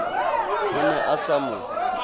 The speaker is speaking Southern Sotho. o ne a sa mo